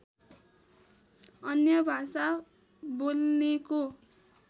अन्य भाषा बोल्नेको